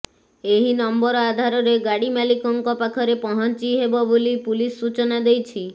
ଏହି ନମ୍ବର ଆଧାରରେ ଗାଡି ମାଲିକଙ୍କ ପାଖରେ ପହଞ୍ଚି ହେବ ବୋଲି ପୁଲିସ ସୂଚନା ଦେଇଛି